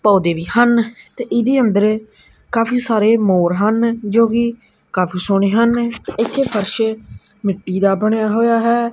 ਪੌਧੇ ਵੀ ਹਨ ਤੇ ਇਹਦੇ ਅੰਦਰ ਕਾਫੀ ਸਾਰੇ ਮੋਰ ਹਨ ਜੋਕੀ ਕਾਦੀ ਸੋਹਣੇ ਹਨ ਇੱਥੇ ਫ਼ਰਸ਼ ਮਿੱਟੀ ਦਾ ਬਣਿਆ ਹੌਇਆ ਹੈ।